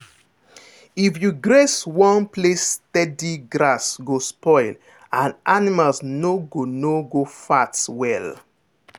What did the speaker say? if you graze one place steady grass go spoil and animal no go no go fat well.